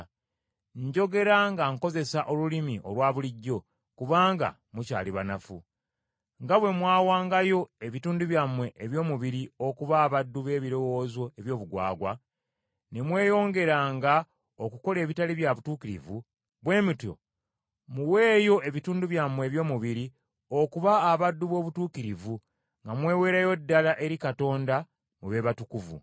Njogera nga nkozesa olulimi olwa bulijjo kubanga mukyali banafu. Nga bwe mwawangayo ebitundu byammwe eby’omubiri okuba abaddu b’ebirowoozo eby’obugwagwa, ne mweyongeranga okukola ebitali bya butuukirivu, bwe mutyo muweeyo ebitundu byammwe eby’omubiri okuba abaddu b’obutuukirivu, nga mweweerayo ddala eri Katonda, mube batukuvu.